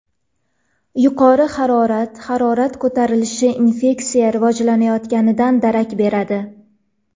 Yuqori harorat Harorat ko‘tarilishi infeksiya rivojlanayotganidan darak beradi.